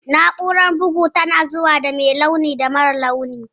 Na'urar bugu tana zuwa da mai launin da marar launi